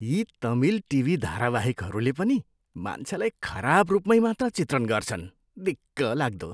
यी तमिल टिभी धारावाहेकहरूले पनि मान्छेलाई खराब रूपमै मात्र चित्रण गर्छन्। दिक्कलाग्दो!